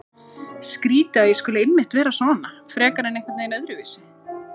Skrýtið að ég skuli einmitt vera svona frekar en einhvern veginn öðruvísi.